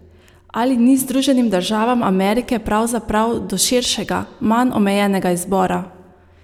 Ali ni Združenim državam Amerike pravzaprav do širšega, manj omejenega izbora?